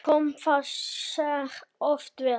Kom það sér oft vel.